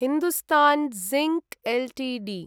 Hindustan Zinc Ltd